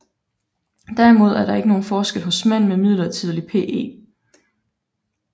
Derimod er der ikke nogen forskel hos mænd med midlertidig PE